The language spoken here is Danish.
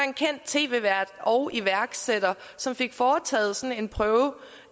en kendt tv vært og iværksætter som fik foretaget en prøve